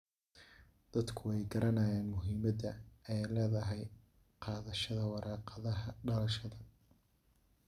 Dadku way garanayaan muhiimada ay leedahay qaadashada warqadaha dhalashada.